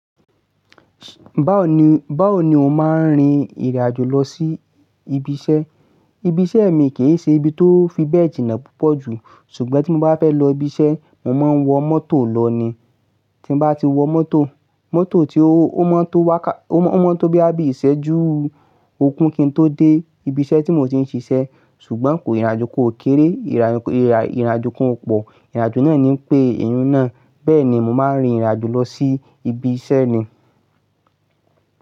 Báwo ni o ṣe máa rin ìrìn àjò lọ sí ibiṣẹ́? Ibiṣẹ́ mìí kì ṣe ibi tó fibẹ̀ jina púpọ̀ jù, ṣùgbọ́n tí mo bá fẹ́ lọ sí ibiṣẹ́ mo máa ń wọ mọ́tò lọ ni tí mo bá ti wọ mọ́tò, mọ́tò tí ó, ó mọ́ tó wàkà, ó mọ́ tó bí i ìṣẹ́jú ogún kí n tó dé ibi iṣẹ́ tí mo ti ń ṣiṣẹ́. Ṣùgbọ́n kò ìrìnàjò kò kéré, ìrìnàjò kò pọ̀, ìrìnàjò náà ni ń pe ìyen náà. Bẹ́ẹ̀ ni màá ń rin ìrìn àjò lọ sí ibi iṣẹ́ ni.